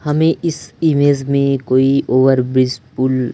हमें इस इमेज में कोई ओवरब्रिज पुल --